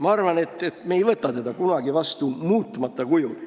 Ma arvan, et me ei võta seda kunagi vastu muutmata kujul.